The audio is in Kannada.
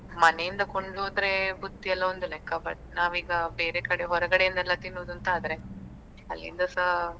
ಮನೆಯಿಂದ ಕೊಂಡು ಹೋದ್ರೆ ಬುತ್ತಿಯೆಲ್ಲ ಒಂದು ಲೆಕ್ಕ but ನಾವೀಗ ಬೇರೆ ಕಡೆ ಹೊರಗಡೆಯಿಂದೆಲ್ಲ ತಿನ್ನುದು ಅಂತ ಆದ್ರೆ ಅಲ್ಲಿಂದಾಸ.